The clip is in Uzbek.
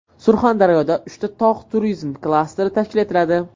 Surxondaryoda uchta tog‘ turizmi klasteri tashkil etiladi.